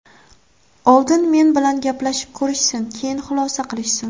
Oldin men bilan gaplashib ko‘rishsin, keyin xulosa qilishsin.